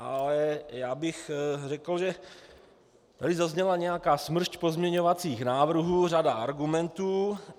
Ale já bych řekl, že tady zazněla nějaká smršť pozměňovacích návrhů, řada argumentů.